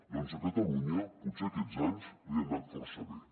doncs a catalunya potser aquests anys li han anat força bé